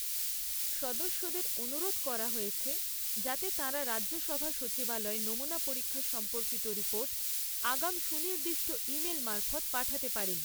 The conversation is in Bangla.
সদস্যদের অনুরোধ করা হয়েছে, যাতে তাঁরা রাজ্যসভা সচিবালয়ে নমুনা পরীক্ষা সম্পর্কিত রিপোর্ট আগাম সুনির্দিষ্ট ই মেল মারফৎ পাঠাতে পারেন।